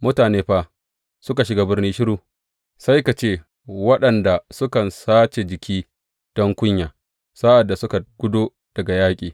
Mutane fa suka shiga birni shiru, sai ka ce waɗanda sukan sace jiki don kunya sa’ad da suka gudo daga yaƙi.